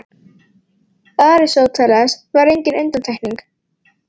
Aristóteles var engin undantekning.